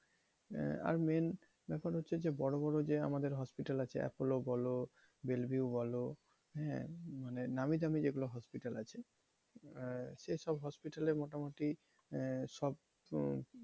আহ আর main ব্যাপার হচ্ছে যে বড় বড় যে আমাদের hospital আছে appolo বলো বেল্ভিউ বলো হ্যাঁ মানে নামি দামী যেগুলো hospital আছে আহ সেসব hospital এ মোটামটি আহ সব,